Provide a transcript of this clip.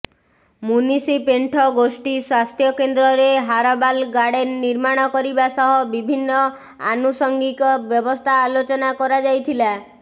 ମୁନିଷିପେଣ୍ଠ ଗୋଷ୍ଠୀ ସ୍ୱାସ୍ଥ୍ୟ କେନ୍ଦ୍ରରେ ହାରବାଲ ଗାର୍ଡେନ ନିର୍ମାଣ କରିବା ସହ ବିଭିନ୍ନ ଆନୁସାଙ୍ଗିକ ବ୍ୟବସ୍ଥା ଆଲୋଚନା କରାଯାଇଥିଲା